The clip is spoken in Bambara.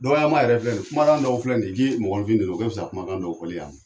Dɔkɔyama yɛrɛ filɛ kuma dɔw filɛ nin ye, i k'i mɔgɔninfin nɛnin o ka fisa kumakan dɔw fɔli y'a ma.